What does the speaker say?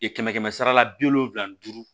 kɛmɛ kɛmɛ sara la bi wolonfila ni duuru